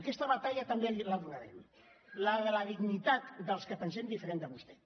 aquesta batalla també la donarem la de la dignitat dels que pensem diferentment de vostè